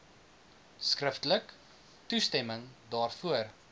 skriftelik toestemming daarvoor